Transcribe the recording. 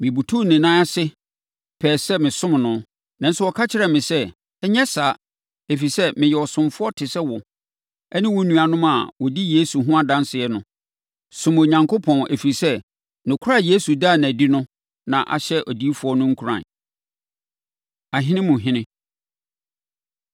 Mebutuu ne nan ase pɛɛ sɛ mesom no. Nanso, ɔka kyerɛɛ me sɛ, “Nyɛ saa, ɛfiri sɛ, meyɛ ɔsomfoɔ te sɛ wo ne wo nuanom a wɔdi Yesu ho adanseɛ no. Som Onyankopɔn ɛfiri sɛ, nokorɛ a Yesu daa no adi no na ɛhyɛ adiyifoɔ no nkuran.” Ahene Mu Ɔhene